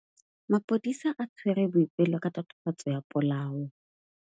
Maphodisa a tshwere Boipelo ka tatofatsô ya polaô.